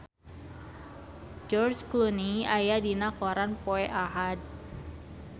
George Clooney aya dina koran poe Ahad